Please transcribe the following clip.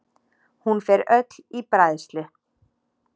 Hún fer öll í bræðslu.